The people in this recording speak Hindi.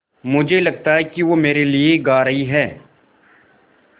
मुझे लगता है कि वो मेरे लिये गा रहीं हैँ